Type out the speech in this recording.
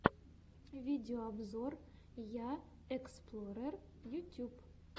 видеообзор я эксплорер ютьюб